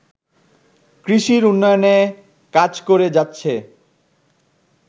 কৃষির উন্নয়নে কাজ করে যাচ্ছে